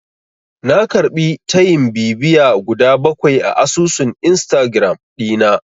Na karɓi tayin bibiya guda bakwai a asusun Instagiram ɗina.